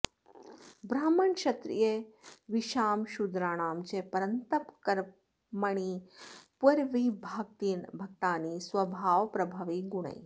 ब्राह्मणक्षत्रियविशां शूद्राणां च परन्तप कर्माणि प्रविभक्तानि स्वभावप्रभवैः गुणैः